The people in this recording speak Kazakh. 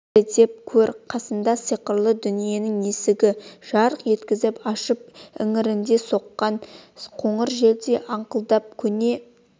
дәлелдеп көр қасында сиқырлы дүниенің есігін жарқ еткізіп ашып іңірде соққан қоңыр желдей аңқылдап көне